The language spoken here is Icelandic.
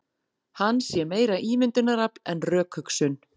Hann sé meira ímyndunarafl en rökhugsun